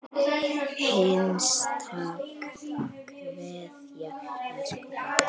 HINSTA KVEÐJA Elsku pabbi.